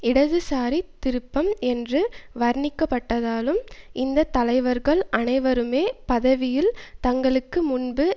இடதுசாரி திருப்பம் என்று வர்ணிக்கப்பட்டதாலும் இந்த தலைவர்கள் அனைவருமே பதவியில் தங்களுக்கு முன்பு